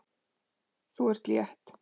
Þú ert létt!